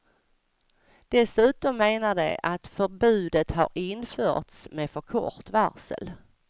Dessutom menar de att förbudet har införts med för kort varsel.